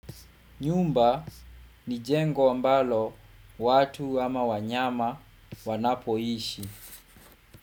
Nyumba ni jengo ambalo watu ama wanyama wanapoishi.